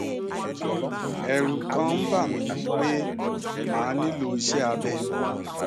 ẹrù kàn ń bà mí pé màá nílò iṣé abẹ